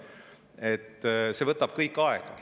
See kõik võtab aega.